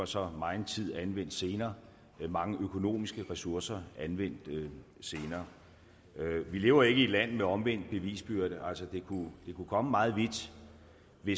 så var megen tid anvendt senere mange økonomiske ressourcer anvendt senere vi lever ikke i et land med omvendt bevisbyrde altså det kunne komme meget vidt hvis